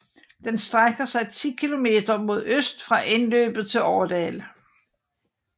Den strækker sig 10 kilometer mod øst fra indløbet til Årdal